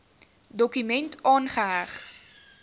dokument aangeheg